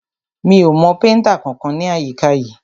Mi ò mọ péntà kankan ní àyíká yìí.